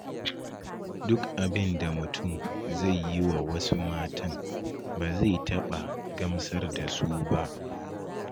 Duk abinda mutum zai yi wa wasu matan, ba zai taɓa gamsar da su ba.